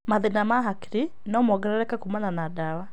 Mathĩĩna ma hakiri no mongerereke kuumana na ndawa.